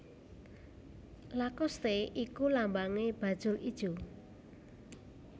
Lacoste iku lambange bajul ijo